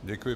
Děkuji.